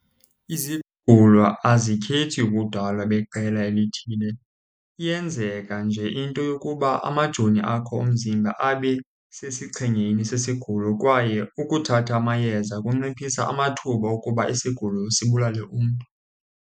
Izigulo azikhethi ubudala beqela elithile. Iyenzeka nje into yokuba amajoni akho omzimba abe sesichengeni sesigulo, kwaye ukuthatha amayeza kunciphisa amathuba okuba isigulo sibulale umntu.